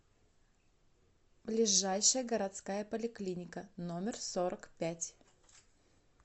ближайший городская поликлиника номер сорок пять